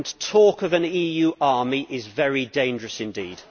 Talk of an EU army is very dangerous indeed.